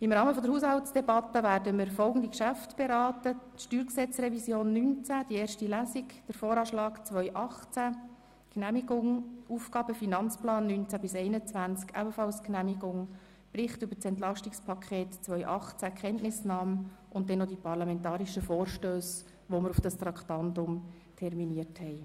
Im Rahmen der Haushaltsdebatte werden wir folgende Geschäfte beraten: die erste Lesung der Revision des Steuergesetzes (StG) 2019, den Voranschlag (VA) 2018, die Genehmigung des Aufgaben- und Finanzplans (AFP) 2019–2021, ebenfalls die Genehmigung des Berichts über das EP 2018 und dann noch die parlamentarischen Vorstösse, die wir auf dieses Traktandum terminiert haben.